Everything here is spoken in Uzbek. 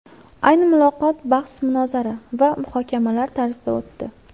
Ayni muloqot bahs-munozara va muhokamalar tarzida o‘tdi.